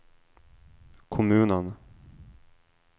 kommunen